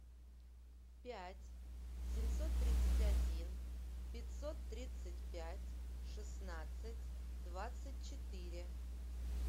пять семьсот тридцать один пятьсот тридцать пять шестнадцать двадцать четыре